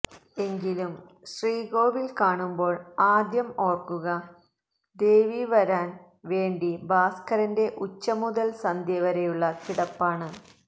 എങ്കിലും ശ്രീകോവില് കാണുമ്പോള് ആദ്യം ഓര്ക്കുക ദേവിവരാന് വേണ്ടി ഭാസ്കരന്റെ ഉച്ച മുതല് സന്ധ്യവരെയുള്ള കിടപ്പാണ്